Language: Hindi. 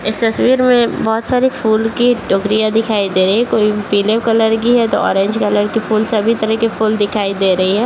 इस तस्वीर मे बहुत सारे फूल की टोकरियाँ दिखाई दे रही है कोई पीले कलर की है तो ऑरेंज कलर की फूल सभी तरह की फूल दिखाई दे रही है।